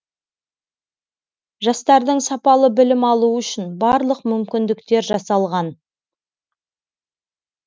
жастардың сапалы білім алуы үшін барлық мүмкіндіктер жасалған